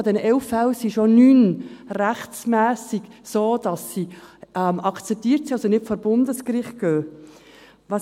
Von diesen 11 Fällen sind schon 9 rechtmässig so, dass sie akzeptiert sind, also nicht vor Bundesgericht gehen.